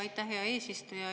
Aitäh, hea eesistuja!